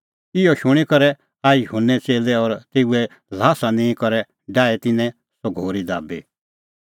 इहअ शूणीं करै आऐ युहन्ने च़ेल्लै और तेऊए ल्हास निंईं करै डाही तिन्नैं सह घोरी दाबी